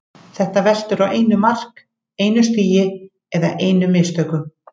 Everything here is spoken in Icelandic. Þetta veltur á einu mark, einu stigi eða einum mistökum.